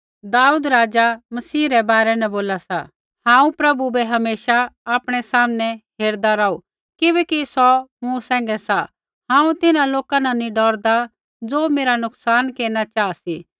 दाऊद राज़ा मसीह रै बारै न बोला सा हांऊँ प्रभु बै हमेशा आपणै सामनै हेरदा रौहू किबैकि सौ मूँ सैंघै सा हांऊँ तिन्हां लोका न नी डौरदा ज़ो मेरा नुकसान केरना चाहा सी